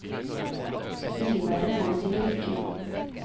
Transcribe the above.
Mildværet får det til å rykke i foten.